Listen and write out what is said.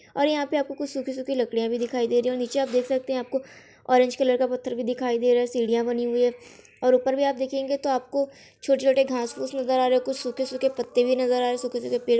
और यहाँ पे आपको कुछ सूखी-सूखी लकड़ियां भी दिखाई दे रही हैं और नीचे आप देख सकते हैं। आपको ऑरेंज कलर का पत्थर भी दिखाई दे रहा है। सीढियां बनी हुई हैं और ऊपर भी आप देखेंगे तो आपको छोटे-छोटे घास फूस नजर आ रहे और कुछ सूखे-सूखे पत्ते भी नजर आ रहे सूखे-सूखे पेड़ --